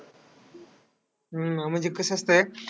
हम्म आणि अं म्हणजे कसं असतंय,